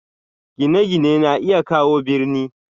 Gine-gine na iya kawo birni.